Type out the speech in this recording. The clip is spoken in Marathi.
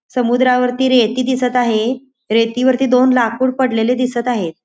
समुद्रावरती रेती दिसत आहे रेती वरती दोन लाकूड पडलेले दिसत आहेत.